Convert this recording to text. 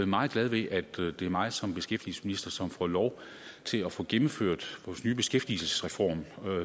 meget glad ved at det er mig som beskæftigelsesminister som får lov til at få gennemført vores nye beskæftigelsesreform